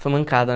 Foi mancada,